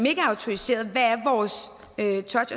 ikke er autoriseret